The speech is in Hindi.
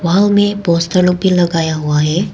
वॉल में पोस्टर लोग भी लगाया हुआ है।